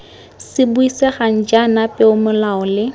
se buisegang jaana peomolao le